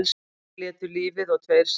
Tveir létu lífið og tveir særðust